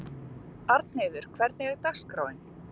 Arnheiður, hvernig er dagskráin?